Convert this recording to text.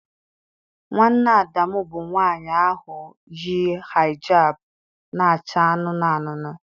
Nwanne Adamu bụ nwanyị ahụ yi hijab na-acha anụnụ anụnụ.